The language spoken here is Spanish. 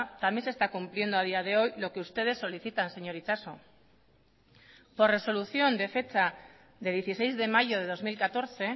también se está cumpliendo a día de hoy lo que ustedes solicitan señor itxaso por resolución de fecha de dieciséis de mayo de dos mil catorce